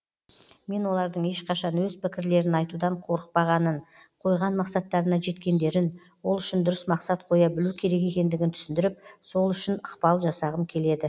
мен олардың ешқашан өз пікірлерін айтудан қорықпағанын қойған мақсаттарына жеткендерін ол үшін дұрыс мақсат қоя білу керек екендігін түсіндіріп сол үшін ықпал жасағым келеді